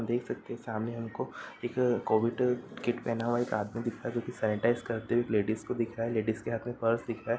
देख सकते हैं सामने हमको एक कोविड किट पहना हुआ एक आदमी दिख रहा है जो कि सनिटीज़ाइज़ करते हुए एक लेडिस को दिख रहा है। लेडिस के हाथ में पर्स दिख रहा --